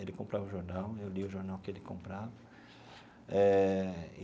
Ele comprava o jornal, eu lia o jornal que ele comprava eh.